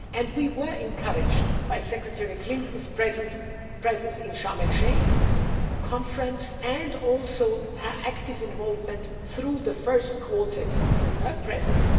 We were encouraged by Secretary Clinton's presence at the Sharm el Sheik Conference and also her active involvement through the first Quartet by her presence.